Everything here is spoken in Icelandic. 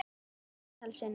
Ótal sinnum.